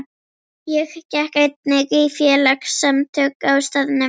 Ég gekk einnig í félagasamtök á staðnum.